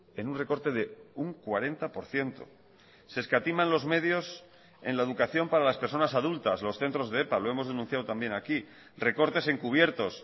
en un recorte de un cuarenta por ciento se escatiman los medios en la educación para las personas adultas los centros de epa lo hemos denunciado también aquí recortes encubiertos